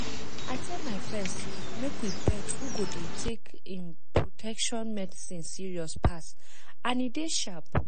i tell my friends say make we bet who go dey take em protection treatment serious pass and e dey sharp